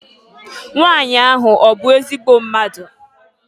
Nwanyị ahụ ọ bụ ezigbo mmadụ?